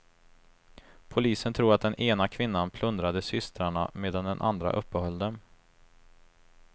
Polisen tror att den ena kvinnan plundrade systrarna medan den andra uppehöll dem.